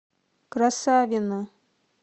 красавино